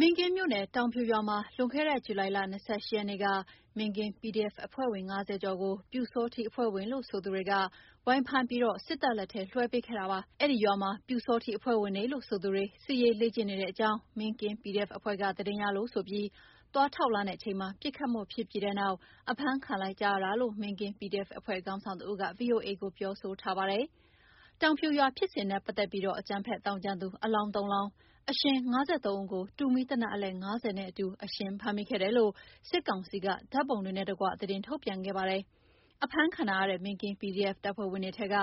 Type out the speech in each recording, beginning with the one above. မင်းကင်းမြို့နယ်၊ တောင်ဖြူရွာမှာ လွန်ခဲ့တဲ့ ဇူလိုင်လ ၂၈ ရက်နေ့က မင်းကင်း PDF အဖွဲ့ဝင် ၅၀ ကျော်ကို ပျူစောထီးအဖွဲ့ဝင်လို့ ဆိုသူတွေက ဝိုင်းဖမ်းပြီး စစ်တပ်လက်ထဲ လွှဲပေးခဲ့တာပါ။ အဲဒီရွာမှာ ပျူစောထီးအဖွဲ့ဝင်တွေလို့ဆိုသူတွေ စစ်ရေးလေ့ကျင့်နေတဲ့အကြောင်း မင်းကင်း PDF အဖွဲ့က သတင်းရလို့ဆိုပြီး သွားထောက်လှမ်းချိန်မှာ ပစ်ခတ်မှုဖြစ်ပြီးတဲ့နောက် အဖမ်းခံလိုက်ကြရတာလို့ မင်းကင်း PDF အဖွဲ့ခေါင်းဆောင်တဦးက ဗွီအိုအေကို ပြောဆိုထားပါတယ်။ တောင်ဖြူရွာဖြစ်စဉ်နဲ့ပတ်သက်ပြီး အကြမ်းဖက်သောင်းကျန်းသူ အလောင်း ၃ လောင်း၊ အရှင် ၅၃ ဦးကို တူမီးသေနတ် အလက် ၅၀ နဲ့အတူ အရှင်ဖမ်းမိခဲ့တယ်လို့ စစ်ကောင်စီက ဓာတ်ပုံတွေနဲ့တကွ သတင်း ထုတ်ပြန်ခဲ့ပါတယ်။ အဖမ်းခံထားရတဲ့ မင်းကင်း PDF တပ်ဖွဲ့ဝင်တွေထဲက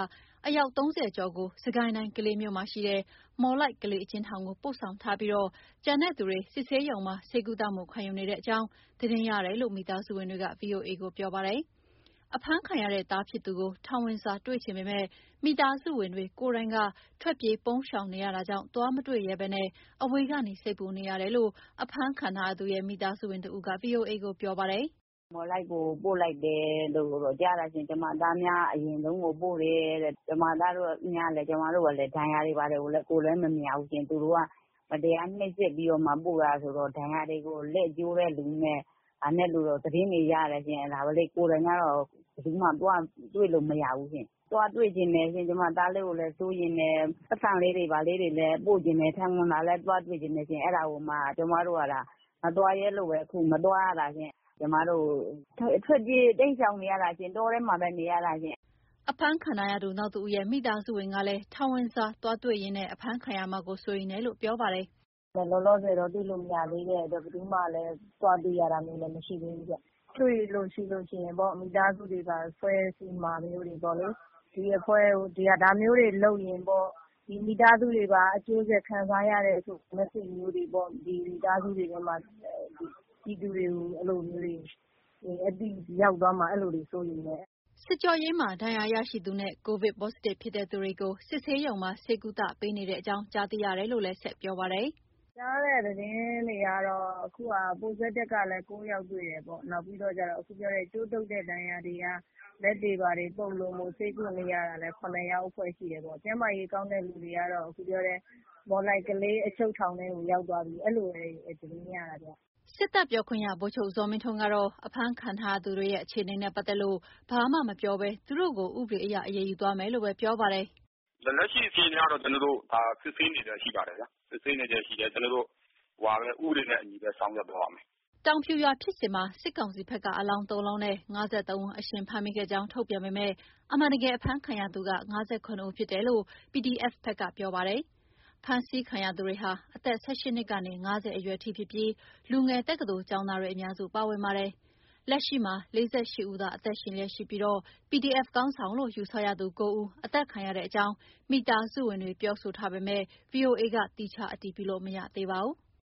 အယောက် ၃၀ ကျော်ကို စစ်ကိုင်းတိုင်၊း ကလေးမြို့မှာရှိတဲ့ မော်လိုက်-ကလေးအကျဉ်ထောင်ကိုပို့ဆောင်ထားပြီး ကျန်တဲ့သူတွေ စစ်ဆေးရုံမှာ ဆေးကုသမှု ခံယူနေရတဲ့အကြောင်း သတင်းရတယ်လို့ မိသားဝင်စုတွေက ဗွီအိုအေကို ပြောပါတယ်။ အဖမ်းခံရတဲ့ သားဖြစ်သူကို ထောင်စာဝင်တွေ့ချင်ပေမယ့် မိသားစုဝင်တွေကိုယ်တိုင်က ထွက်ပြေး ပုန်းရှောင်နေရတာကြောင့် သွားမတွေ့ရဲဘဲ အဝေးကနေ စိတ်ပူနေရတယ်လို့ အဖမ်းခံထားရသူရဲ့ မိသားစုဝင်တဦးက ဗွီအိုအေကို ပြောပါတယ်။ “မော်လိုက်ကို ပို့လိုက်တယ်လို့တော့ ကြားတာရှင်။ ကျမသားကို အရင်ဆုံးပို့တယ်တဲ့။ ကျမ သားတို့ရဲ့ ဒဏ်ရာတွေဘာတွေ ကိုယ်လည်းမမြင်ရဘူးရှင့်။ သူတို့က မတရားနှိပ်စက် ပြီးတော့မှာ (ထောင်)ပို့တယ်ဆိုတော့ ဒဏ်ရာတွေကို လက်ကျိုးတဲ့လူနဲ့ ဘာနဲ့လူတော့ သတင်းတွေရတယ်ရှင်။ အဲ့ဒါကို ကိုယ်တိုင်ကတော့ ဘယ်သူမှသွားတွေ့လို့မရဘူးရှင်။ သွားတွေ့ချင်တယ်ရှင်။ ကျမ သားလေးကိုလည်း စိုးရိမ်တယ်။ ပိုက်ဆံလေးတွေ ဘာတွေလည်း ပို့ချင်တယ်။ ထောင်ဝင်စာလည်း သွားတွေ့ချင်တယ်ရှင်။ အဲ့ဒါကိုမှ ကျမတို့က မသွားရဲလို့ အခုမသွားရတာရှင့်။ ကျမတို့က ထွက်ပြေး တိမ်းရှောင်နေရတာရှင့်။ တောထဲမှာပဲ နေရတာရှင့်။” အဖမ်းခံထားရသူနောက်တဦးရဲ့ မိသားစုဝင်ကလည်း ထောင်ဝင်စာသွားတွေ့ရင်း အဖမ်းခံရမှာ စိုးရိမ်ရတယ်လို့ ပြောပါတယ်။ “လောလောဆယ်တော့ တွေ့လို့မရသေးတဲ့အတွက် ဘယ်သူမှလည်း သွားတွေ့ရတာမျိုး မရှိသေးဘူးဗျ။ တွေ့လို့ ရှိလို့ရှိရင် မိသားစုတွေပါ ဆွဲစိမှာမျိုးတာပေါ့လေ၊ ဒီအဖွဲ့က ဒါမျိုးတွေလုပ်ရင်ပေါ့ ဒီမိသားစုတွေပါ အကျိုးဆက်ခံစားရတယ်ဆိုတဲ့ သတင်းစကားမျိုးတွေပေါ့။ ဒီမိသားစုတွေဘက်မှာ ပြည်သူတွေကို အဲ့လိုမျိုး အသိရောက်သွားမှာ အဲ့လိုတွေစိုးရိမ်တယ်။” စစ်ကြောရေးမှာ ဒဏ်ရာရရှိသူနဲ့ ကိုဗစ် Positive ဖြစ်တဲ့သူတွေကို စစ်ဆေးရုံမှာ ဆေးကုသပေးနေတဲ့အကြောင်း ကြားသိရတယ်လို့ ဆက်ပြောပါတယ်။ “ကြားတဲ့သတင်းတွေကတော့ အခုက Positive ကတော့ ၉ ယောက်တွေ့တယ်ပေါ့။ နောက်ပြီးတော့ကျတော့ အခုပြောတဲ့ ကြိုးတုပ်တဲ့ ဒဏ်ရာတွေက လက်တွေ ဘာတွေ ပုပ်လို့ ဆေးကုနေရတာလည်း ၇ ဖွဲ့ရှိတယ်ပေါ့။ ကျန်းမာရေးကောင်းတဲ့လူတွေကတော့ အခုပြောတဲ့ မော်လိုက်-ကလေး အချုပ်ထောင်ထဲကို ရောက်သွားပြီ၊ အဲ့လိုတွေသတင်းရတာဗျ။” စစ်တပ်ပြောခွင့်ရ ဗိုလ်ချုပ်ဇော်မင်းထွန်းကတော့ အဖမ်းခံထားသူတွေရဲ့ အခြေအနေနဲ့ပတ်သက်လို့ ဘာမှမပြောဘဲ သူတို့ကို ဥပဒေအရ အရေးယူသွားမယ်လို့ပဲ ပြောပါတယ်။ “လက်ရှိ အခြေအနေကတော့ ကျနော်တို့ ဒါ စစ်ဆေးနေဆဲရှိပါတယ်ဗျ။ စစ်ဆေးနေဆဲရှိတယ်။ ကျနော်တို့ ဥပဒေနဲ့အညီပဲ ဆောင်ရွက်သွားမယ်။” တောင်ဖြူရွာဖြစ်စဉ်မှာ စစ်ကောင်စီဘက်က အလောင် ၃ လောင်းနဲ့ ၅၃ ဦးအရှင်ဖမ်းမိခဲ့ကြောင်း ထုတ်ပြန်ပေမယ့် အမှန်တကယ် အဖမ်းခံရသူက ၅၇ ဦး ဖြစ်တယ်လို့ PDF ဘက်ကပြောထားပါတယ်။ ဖမ်းဆီးခံရသူတွေဟာ အသက် ၁၈ နှစ်ကနေ ၅၀ အရွယ်ထိဖြစ်ပြီး လူငယ် တက္ကသိုလ်ကျောင်းသားတွေ အများစု ပါဝင်ပါတယ်။ လက်ရှိမှာ ၄၈ ဦးသာ အသက်ရှင်လျက်ရှိပြီး PDF ခေါင်းဆောင်လို့ ယူဆရသူ ၉ ဦး အသတ်ခံရတဲ့အကြောင်း မိသားစုဝင်တွေပြောဆိုထားပေမယ့် ဗွီအိုအေ သီးခြားအတည်ပြုလို့ မရသေးပါဘူး။